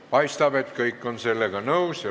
Paistab, et kõik on sellega nõus.